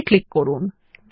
okay click করুন